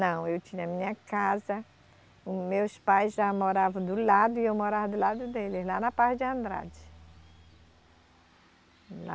Não, eu tinha minha casa, meus pais já moravam do lado e eu morava do lado deles, lá na parte de Andrade. Lá